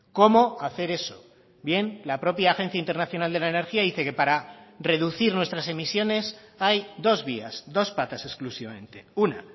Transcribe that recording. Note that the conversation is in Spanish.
cómo hacer eso bien la propia agencia internacional de la energía dice que para reducir nuestras emisiones hay dos vías dos patas exclusivamente una